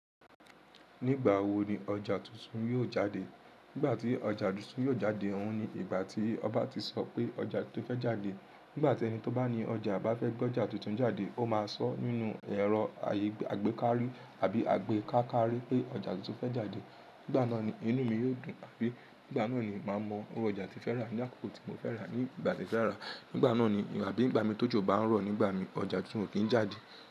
Nígbà wò ni ọjà túntún yóò jáde? Nígbà tí ọjà túntún yóò jáde, òun ni ìgbà tí ọba ti sọ pé ọjà tí ó fẹ́ jáde. Nígbà tí ẹni tí ó bá ní ọjà bá fẹ́ gbé ọjà túntún jáde, ó máa sọ nínú ẹ̀rọ àgbékárí àbí àgbékákárí pé ọjà túntún fẹ́ jáde. Nígbà náà ni inú mi yóò dùn, àbí nígbà náà ni màá mọ irú ọjà tí mo fẹ́ rà, ní àkókò tí mo fẹ́ rà á, ní ìgbà tí mo fẹ́ rà á. Nígbà náà ni àbí ìgbà mi tójò bá ń rọ̀ nígbà mi, ọjà kí n ò kí ń jáde.